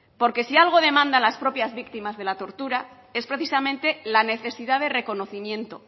porque si algo demandan las propias víctimas de la tortura es precisamente la necesidad de reconocimiento